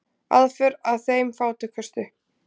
Aðför að þeim fátækustu